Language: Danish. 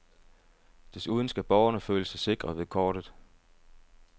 Desuden skal borgerne føle sig sikre ved kortet.